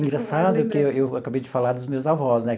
Engraçado é que eu eu acabei de falar dos meus avós, né?